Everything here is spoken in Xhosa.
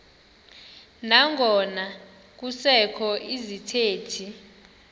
nangona kusekho izithethi